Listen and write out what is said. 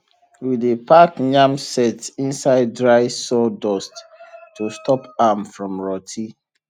we dey pack yam set inside dry sawdust to stop am [ from rotty